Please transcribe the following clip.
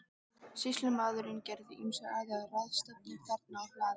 Sýslumaður gerði ýmsar aðrar ráðstafanir þarna á hlaðinu.